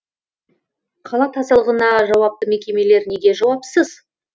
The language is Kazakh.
қала тазалығына жауапты мекемелер неге жауапсыз